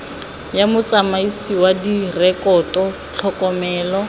ya motsamaisi wa direkoto tlhokomelo